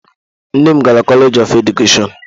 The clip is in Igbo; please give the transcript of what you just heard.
Nne m gara koleeji of Edukeshọn.